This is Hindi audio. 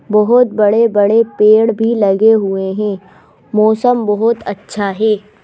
बहोत बड़े बड़े पेड़ भी लगे हुए हैं मौसम बहोत अच्छा है।